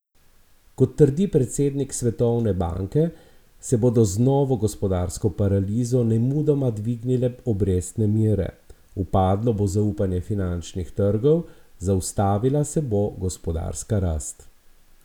Kot trdi predsednik Svetovne banke, se bodo z novo gospodarsko paralizo nemudoma dvignile obrestne mere, upadlo bo zaupanje finančnih trgov, zaustavila se bo gospodarska rast.